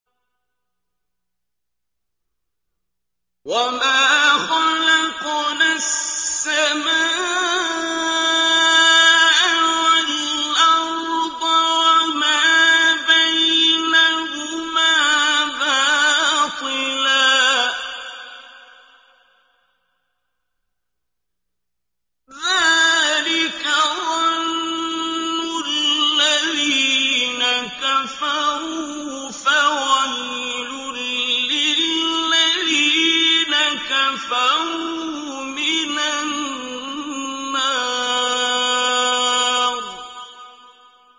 وَمَا خَلَقْنَا السَّمَاءَ وَالْأَرْضَ وَمَا بَيْنَهُمَا بَاطِلًا ۚ ذَٰلِكَ ظَنُّ الَّذِينَ كَفَرُوا ۚ فَوَيْلٌ لِّلَّذِينَ كَفَرُوا مِنَ النَّارِ